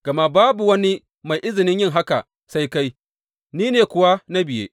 Gama babu wani mai izinin yin haka sai kai, ni ne kuwa na biye.